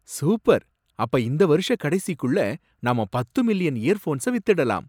Super! அப்ப இந்த வருஷக் கடைசிக்குள்ள நாம பத்து மில்லியன் இயர்ஃபோன்ஸ வித்துடலாம்.